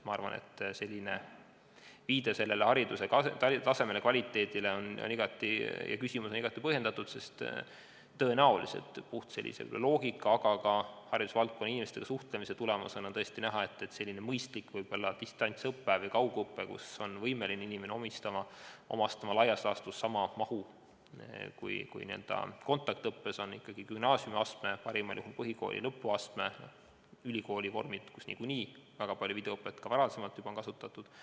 Ma arvan, et viide hariduse tasemele, kvaliteedile on igati põhjendatud, sest puhtalt loogika põhjal, aga ka haridusvaldkonna inimestega suhtlemise tulemusena on näha, et tõenäoliselt on selline mõistlik distantsõpe, mille käigus inimene on võimeline omandama laias laastus sama mahu kui kontaktõppes, on tehtav ikkagi gümnaasiumiastmes, parimal juhul põhikooli lõpuastmes, ka ülikoolides, kus videoõpet on niikuinii väga palju juba varem kasutatud.